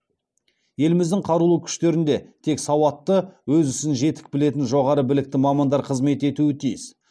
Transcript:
еліміздің қарулы күштерінде тек сауатты өз ісін жетік білетін жоғары білікті мамандар қызмет етуі тиіс